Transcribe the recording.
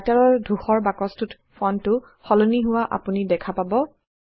Writer ৰ ধূসৰ বাকছটোত ফন্টটো সলনি হোৱা আপুনি দেখা পাব